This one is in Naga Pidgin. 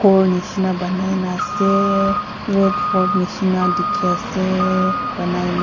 ghor nishina banaina ase red fort nishina dikhi ase banaina.